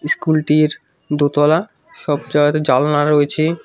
School -টির দোতলা সব জায়গাতে জানলা রয়েছে।